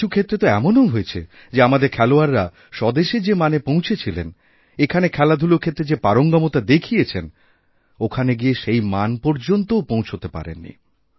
কিছু ক্ষেত্রে তোএমনও হয়েছে যে আমাদের খেলোয়াড়রা স্বদেশে যে মানে পৌঁছেছিলেন এখানে খেলাধূলারক্ষেত্রে যে পারঙ্গমতা দেখিয়েছেন ওখানে গিয়ে সেই মান পর্যন্তও পৌঁছতে পারেন নি